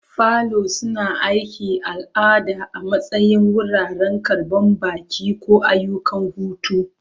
Falo suna aiki a al'ada a matsayin wuraren karɓan baƙi, ko ayyukan hutu.